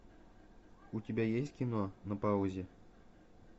у тебя есть кино на паузе